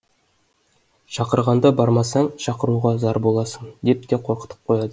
шақырғанда бармасаң шақыруға зар боласың деп те қорқытып қояды